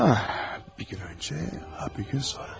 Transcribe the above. Bir gün əvvəl, ya bir gün sonra.